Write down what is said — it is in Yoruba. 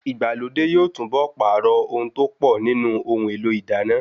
Ìgbàlódé yóò túnbọ̀ pààrọ̀ ohun tó pọ̀ nínú ohun èlò ìdáná